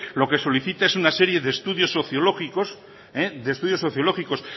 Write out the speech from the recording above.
lo que solicita es una serie de estudios sociológicos